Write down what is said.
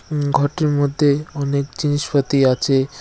উম-ঘরটির মধ্যে অনেক জিনিসপাতি আছে।